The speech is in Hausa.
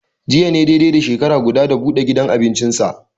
Jiya ne dai dai da shekara guda, da buɗe gudan abincinsa.